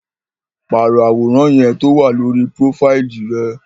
Paro aworan yẹn towa lori profaili rẹ!